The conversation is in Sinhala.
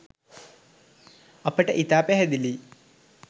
අපට ඉතා පැහැදිලියි